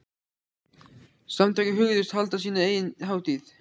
Samtökin hugðust halda sína eigin hátíð.